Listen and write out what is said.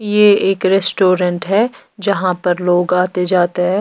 ये एक रेस्टोरेंट है जहाँ पर लोग आते जाते हैं।